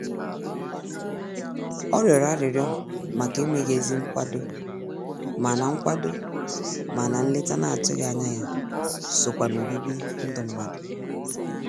Ọ rịọrọ arịrịọ màkà emeghị ezi nkwado, mana nkwado, mana nleta n'atụghị ányá ya sokwa n'obibi ndụ mmadụ.